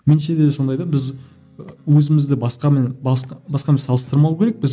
меніңше де сондай да біз і өзімізді басқамен басқамен салыстырмау керекпіз